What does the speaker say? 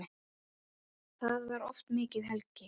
Þá var oft mikið hlegið.